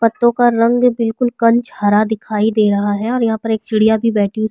पत्तों का रंग बिल्कुल कंच हरा दिखाई दे रहा है और यहाँ पर एक चिडियाँ भी बैठी --